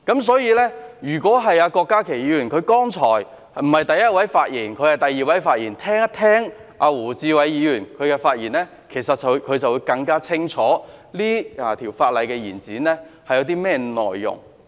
所以，如果郭家麒議員——他剛才不是第一位發言，而是第二位發言——聆聽胡志偉議員的發言，便會更清楚這項有關延展修訂期限的擬議決議案內容。